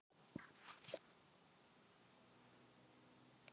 Dimm él á Suðurlandi